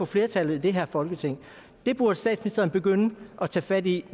flertallet i det her folketing det burde statsministeren begynde at tage fat i